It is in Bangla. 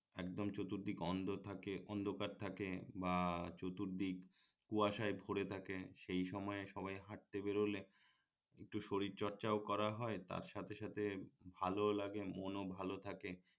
একদম চতুর্দিক অন্ধ থাকে অন্ধকার থাকে বা চতুর্দিক কুয়াশায় ভরে থাকে সেই সময়ে সবাই হাটতে বের হলে একটু শরীর চর্চাও করা হয় তার সাথে সাথে ভালও লাগে মনও ভাল থাকে